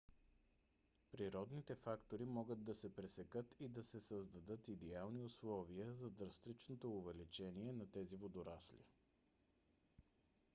природните фактори могат да се пресекат и да се създадат идеални условия за драстичното увеличение на тези водорасли